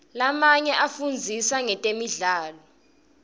lamanye afundzisa ngetemidlalo